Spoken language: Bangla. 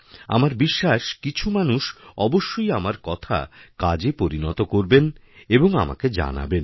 আমার বিশ্বাস কিছু মানুষ অবশ্যই আমার কথা কাজেপরিণত করবেন এবং আমাকে জানাবেনও